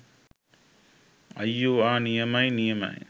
අයියෝ ආ නියමයි නියමයි